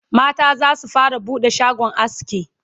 mata zasu fara buɗe shagon aski